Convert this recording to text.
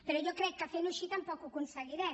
però jo crec que fent ho així tampoc ho aconseguirem